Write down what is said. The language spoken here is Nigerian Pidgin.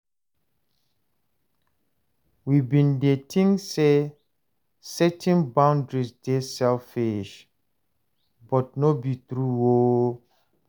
We bin dey tink sey setting boundaries dey selfish, but no be true o.